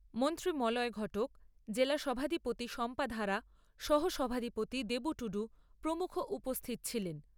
মন্ত্রী মলয় ঘটক, জেলা সভাধিপতি শম্পা ধাড়া, সহ সভাধিপতি দেবু টুডু প্রমুখ উপস্থিত ছিলেন।